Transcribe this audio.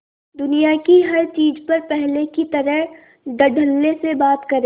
दुनिया की हर चीज पर पहले की तरह धडल्ले से बात करे